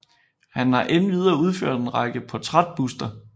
Han har endvidere udført en række portrætbuster